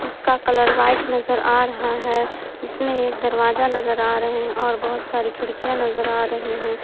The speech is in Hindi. इसका कलर व्हाइट नजर आ रहा है जिसमें एक दरवाजा नजर आ रहे हैं और बहुत सारी खिड़कियां नजर आ रही हैं।